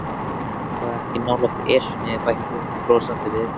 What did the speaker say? Það er nú svo langt síðan hefur verið ættarmót.